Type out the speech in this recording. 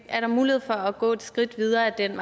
er der mulighed for at gå et skridt videre ad den